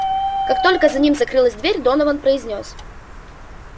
как только за ним закрылась дверь донован произнёс